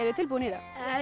þið tilbúin í þetta